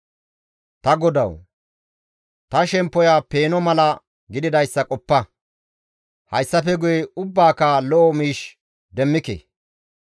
Ta Godawu! Ta shemppoya peeno mala gididayssa qoppa; hayssafe guye ubbaka lo7o miish demmike.